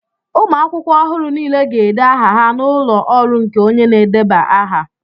ụmụ akwụkwọ ọhụrụ niile ga-ede aha ha n'ụlọ ọrụ nke onye na-edeba aha